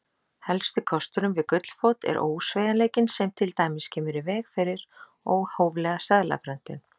Helsti kosturinn við gullfót er ósveigjanleikinn sem til dæmis kemur í veg fyrir óhóflega seðlaprentun.